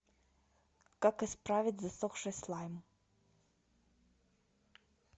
как исправить засохший слайм